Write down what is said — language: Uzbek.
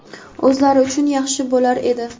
o‘zlari uchun yaxshi bo‘lur edi.